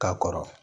Ka kɔrɔ